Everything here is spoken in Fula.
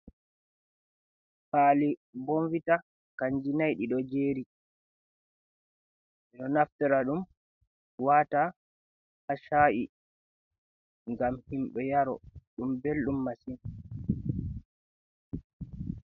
Kwaali bonvita kanji nai ɗiɗo jeri ɗo naftira ɗum wata ha sha’i ngam himɓe yaro ɗum belɗum masin.